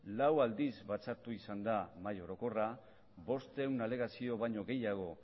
lau aldiz batzartua izan da mahai orokorra bostehun alegazio baino gehiago